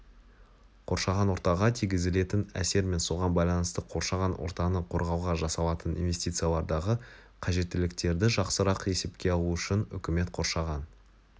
қоршаған ортаға тигізілетін әсер мен соған байланысты қоршаған ортаны қорғауға жасалатын инвестициялардағы қажеттіліктерді жақсырақ есепке алу үшін үкімет қоршаған